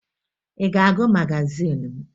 Ị ga-agụ magazin m?